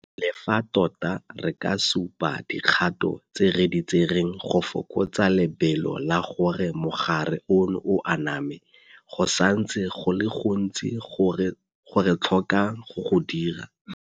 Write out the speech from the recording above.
Le fa tota re ka supa dikgato tse re di tsereng go fokotsa lebelo la gore mogare ono o aname, go santse go le go gontsi go re tlhokang go go dira.